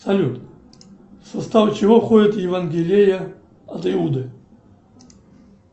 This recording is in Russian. салют в состав чего входит евангелие от иуды